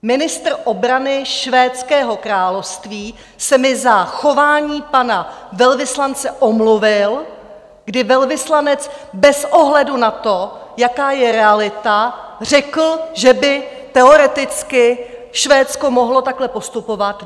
Ministr obrany Švédského království se mi za chování pana velvyslance omluvil, kdy velvyslanec bez ohledu na to, jaká je realita, řekl, že by teoreticky Švédsko mohlo takhle postupovat.